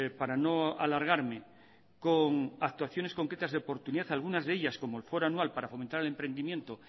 para no alargarme con actuaciones concretas de oportunidad algunas de ellas como el foro anual para fomentar el emprendimiento